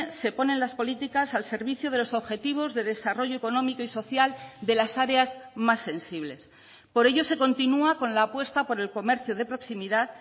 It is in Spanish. se ponen las políticas al servicio de los objetivos de desarrollo económico y social de las áreas más sensibles por ello se continúa con la apuesta por el comercio de proximidad